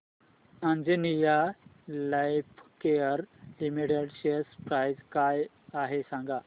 Anjaneya lifecare limited share price काय आहे सांगा